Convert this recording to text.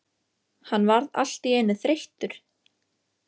Hann varð allt í einu þreyttur.